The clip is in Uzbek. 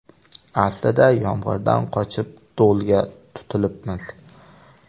Aslida yomg‘irdan qochib, do‘lga tutilibmiz.